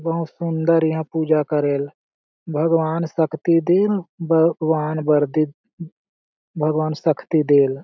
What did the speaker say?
बहुत सुन्दर यहाँ पूजा करेल भगवान शक्ति दीन भगवान वरदी भगवान शक्ति देल --